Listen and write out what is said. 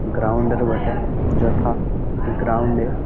Ground -এর বটে যথা গ্রাউন্ড -এ।